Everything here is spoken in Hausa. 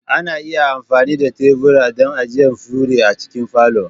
Ana iya amfani da tebura don ajiye fure a cikin falo.